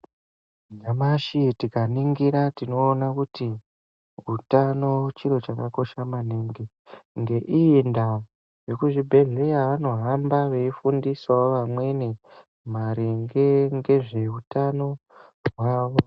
Nyamashi tikaningira tinoona kuti utano chiro chakakosha naningi. Ngeiyi ndaa vekuzvibhehleya vanohamba veifundisawo vamweni maringe ngezveutano hwawo.